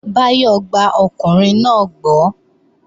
Báyọ̀ gba ọkùnrin náà gbọ́